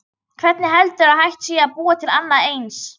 Hvernig heldurðu að hægt sé að búa til annað eins?